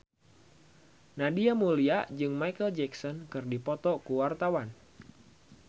Nadia Mulya jeung Micheal Jackson keur dipoto ku wartawan